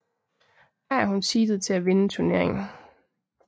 Her er hun seedet til at vinde turneringen